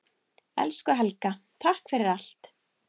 Elsku Helga, takk fyrir allt.